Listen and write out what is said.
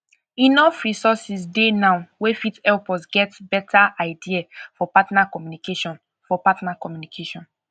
enough resources dey now wey fit help us get better idea for partner communication for partner communication